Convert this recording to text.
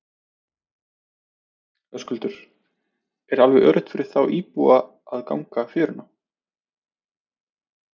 Höskuldur: Er alveg öruggt þá fyrir íbúa að ganga fjöruna?